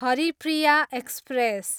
Haripriya express